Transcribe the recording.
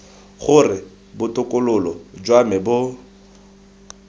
gore botokololo jwa me bo